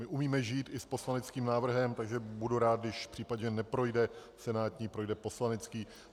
My umíme žít i s poslaneckým návrhem, takže budu rád, když případně neprojde senátní, projde poslanecký.